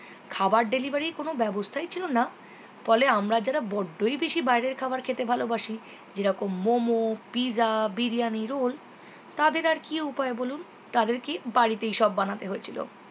খাওয়ার delivery এর কোনো ব্যবস্থাই ছিল না ফলে আমরা যারা বড্ডই বেশি বাইরের খাওয়ার খেতে ভালোবাসি যেরকম momo pizza biriyani role তাদের আর কি উপায় বলুন তাদেরকেই বাড়িতেই সব বানাতে হয়েছিল